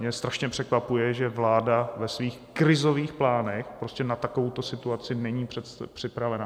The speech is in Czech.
Mě strašně překvapuje, že vláda ve svých krizových plánech prostě na takovouto situaci není připravena.